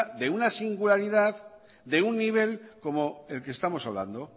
de una singularidad y de un nivel como el que estamos hablando